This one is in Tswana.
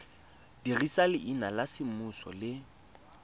dirisa leina la semmuso le